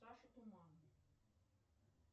саша туман